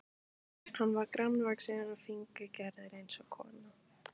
Hann var grannvaxinn og fíngerður eins og kona.